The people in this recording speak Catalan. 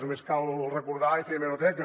només cal recordar i fer hemeroteca